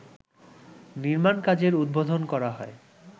নির্মাণ কাজের উদ্বোধন করা হয়